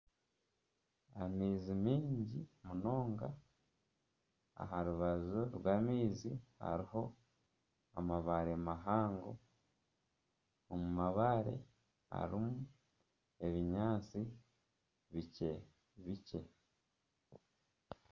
Amaizi mingi munonga. Aha rubaju rwa maizi hariho amabaare mahango. Omu mabaare harimu ebinyaasti bikye bikye.